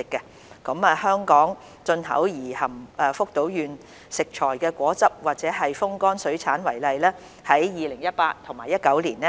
以香港進口而含福島縣食材的果汁或風乾水產為例，在 2018-2019 年